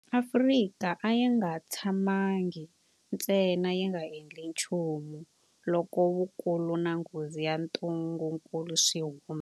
Afrika a yi nga tshamangi ntsena yi nga endli nchumu loko vukulu na nghozi ya ntungukulu swi humelela.